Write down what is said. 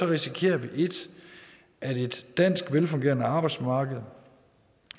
risikerer vi 1 at et dansk velfungerende arbejdsmarked